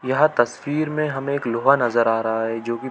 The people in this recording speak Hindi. यह तस्वीर में हमें एक लोहा नज़र आ रहा है जो की--